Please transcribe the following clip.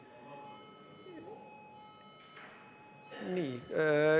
Nii.